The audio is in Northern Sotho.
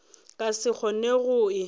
ka se kgone go e